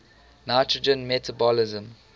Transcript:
nitrogen metabolism